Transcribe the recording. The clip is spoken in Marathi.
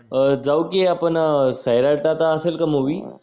अं जाऊ कि आपण सैराट आता असेल का मूवी